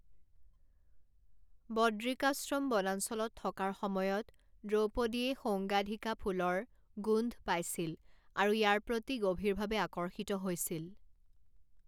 বদ্ৰিকাশ্ৰম বনাঞ্চলত থকাৰ সময়ত দ্ৰৌপদীয়ে সৌগান্ধীকা ফুলৰ গোন্ধ পাইছিল আৰু ইয়াৰ প্ৰতি গভীৰভাৱে আকৰ্ষিত হৈছিল।